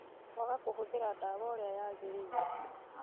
Kwaga kũhũthĩra ndawa ũrĩa yaagĩrĩire